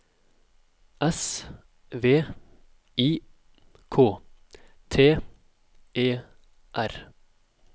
S V I K T E R